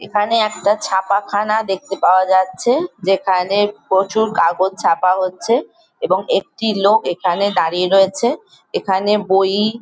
এখানে একটা ছাপাখানা দেখতে পাওয়া যাচ্ছে। যেখানে প্রচুর কাগজ ছাপা হচ্ছে এবং একটি লোক এখানে দাঁড়িয়ে রয়েছে এখানে বই।